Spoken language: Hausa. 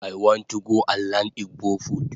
I want to go and learn igbo food